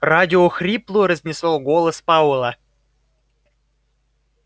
радио хрипло разнесло голос пауэлла